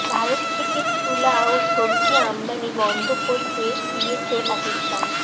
ভারত থেকে তুলা ও সবজি আমদানি বন্ধ করে দিয়েছে পাকিস্তান